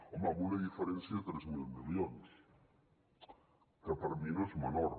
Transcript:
home amb una diferència de tres mil milions que per mi no és menor